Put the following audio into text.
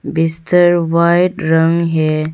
बिस्तर वाइट रंग है।